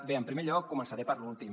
bé en primer lloc començaré per lo últim